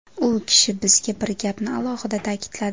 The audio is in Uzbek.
U kishi bizga bir gapni alohida ta’kidladi.